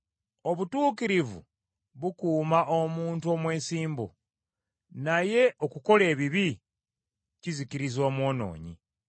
Obutuukirivu bukuuma omuntu omwesimbu, naye okukola ebibi kuzikiriza omwonoonyi.